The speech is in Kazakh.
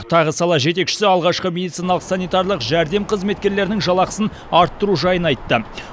тағы сала жетекшісі алғашқы медициналық санитарлық жәрдем қызметкерлерінің жалақысын арттыру жайын айтты